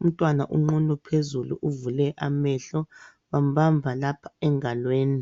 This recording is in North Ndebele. Umntwana unqunu phezulu uvule amehlo, bambamba lapha engalweni.